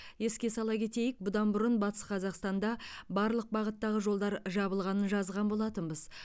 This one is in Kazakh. еске сала кетейік бұдан бұрын батыс қазақстанда барлық бағыттағы жолдар жабылғанын жазған болатынбыз